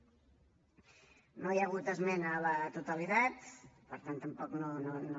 no hi ha hagut esmena a la totalitat per tant tampoc no no